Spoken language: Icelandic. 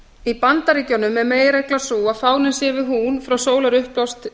í bandaríkjunum er meginreglan sú að fáninn sé við hún frá sólarupprás til